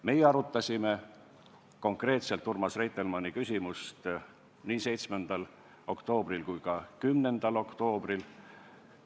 Meie arutasime konkreetselt Urmas Reitelmanni küsimust nii 7. oktoobril kui ka 10. oktoobril.